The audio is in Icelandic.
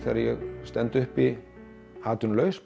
að ég stend uppi atvinnulaus